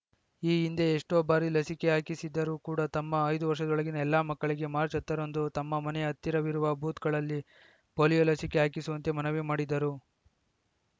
ಈ ಹಿಂದೆ ಎಷ್ಟೋ ಬಾರಿ ಲಸಿಕೆ ಹಾಕಿಸಿದ್ದರೂ ಕೂಡ ತಮ್ಮ ಐದು ವರ್ಷದೊಳಗಿನ ಎಲ್ಲ ಮಕ್ಕಳಿಗೆ ಮಾರ್ಚ್ ಹತ್ತರಂದು ತಮ್ಮ ಮನೆಯ ಹತ್ತಿರವಿರುವ ಬೂತ್‌ಗಳಲ್ಲಿ ಪೋಲಿಯೋ ಲಸಿಕೆ ಹಾಕಿಸುವಂತೆ ಮನವಿ ಮಾಡಿದರು